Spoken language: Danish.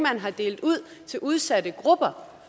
har delt ud til udsatte grupper